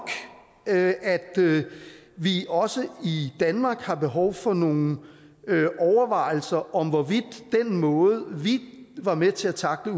at vi også i danmark har behov for nogle overvejelser om hvorvidt den måde vi var med til at tackle